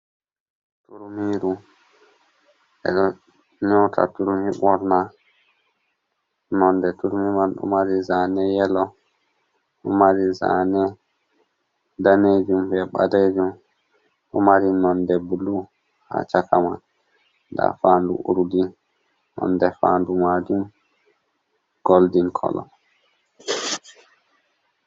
Turmiru, ɓe ɗo nyota turmi ɓorna, non de turmi man ɗomari zane yelo ɗo mari zane danejum be balejum ɗomari nonde blu ha chakaman. nda fandu urdi nonde fandu majum golden colon.